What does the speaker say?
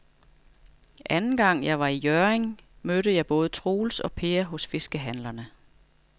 Anden gang jeg var i Hjørring, mødte jeg både Troels og Per hos fiskehandlerne.